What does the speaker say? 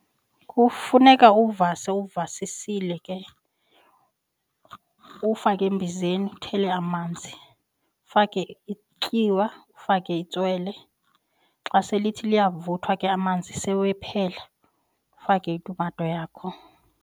Kufuneka uvase uvasisile ke, uwufake embizeni uthele amanzi. Ufake ityiwa, ufake itswele xa selithi liyavuthwa ke amanzi sewephela ufake itumato yakho.